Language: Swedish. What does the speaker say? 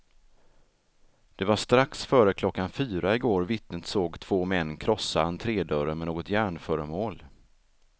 Det var strax före klockan fyra igår vittnet såg två män krossa entrédörren med något järnföremål.